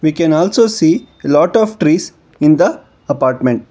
we can also see a lot of trees in the apartment.